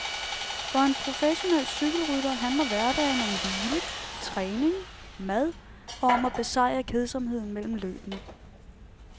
For en professionel cykelrytter handler hverdagen om hvile, træning, mad og om at besejre kedsomheden mellem løbene.